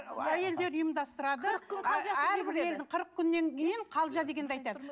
әйелдер ұйымдастырады қырық күннен кейін қалжа дегенді айтады